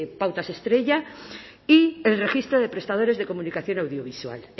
pautas estrella y el registro de prestadores de comunicación audiovisual